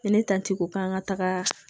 Ne ta ti ko k'an ka taaga